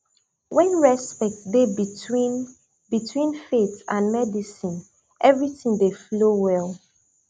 when respect dey between between faith and medicine everything dey flow well